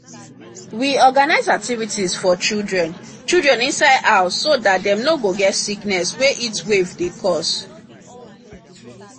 we organize activities for children children inside house so that dem no go get sickness wey heatwaves dey cause